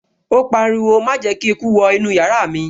Ó pariwo, 'Má jẹ́ kí eku wọ inú yàrá mi'